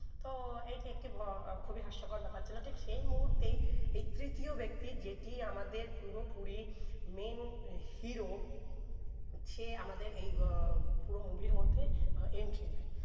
তো এই একটি ভো খুবি হাস্যকর ব্যাপার ছিলো সেই মুহুতে এই তৃতীয় ব্যাক্তি যেটি আমাদের পুরো পুরি main hero সে আমাদের এই গো পুরো movie র মধ্যে entry নেয়